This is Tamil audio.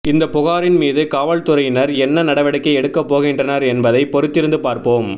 இந்த புகாரின் மீது காவல்துறையினர் என்ன நடவடிக்கை எடுக்க போகின்றனர் என்பதை பொறுத்திருந்து பார்ப்போம்